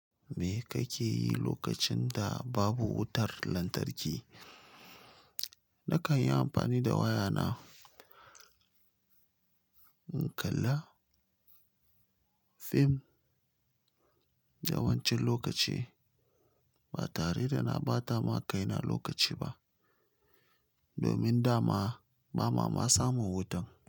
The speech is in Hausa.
Me kake yi lokacin da babu wutar lantarki? Na kan yi amfani da wayana in kalla fim yawancin lokaci. Ba tare da na ɓata ma kaina lokaci ba domin da ma ba ma samun wutan.